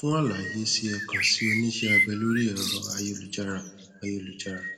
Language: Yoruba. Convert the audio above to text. fún àlàyé si ẹ kàn sí oníṣẹ abẹ lórí ẹrọ ayélujára ayélujára